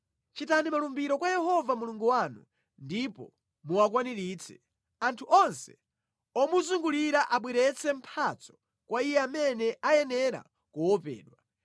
Chitani malumbiro kwa Yehova Mulungu wanu ndipo muwakwaniritse; anthu onse omuzungulira abweretse mphatso kwa Iye amene ayenera kuopedwa.